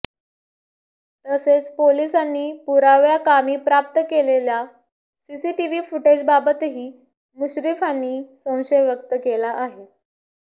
तसेच पोलिसांनी पुराव्याकामी प्राप्त केलेल्या सीसीटिव्ही फुटेजबाबतही मुश्रीफांनी संशय व्यक्त केला आहे